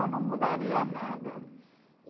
Eu não mudaria nada.